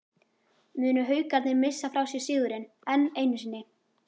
Munu Haukarnir missa frá sér sigurinn, enn einu sinni???